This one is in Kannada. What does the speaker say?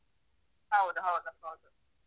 ಹೌದು ಹೌದು ಹೌದು.